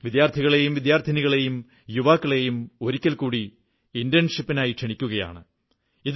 വിദ്യാർഥികളേയും വിദ്യാർഥിനികളെയും യുവാക്കളെയും ഒരിക്കൽ കൂടി ഇന്റേൺഷിപ്പിനായി ക്ഷണിക്കുകയാണ്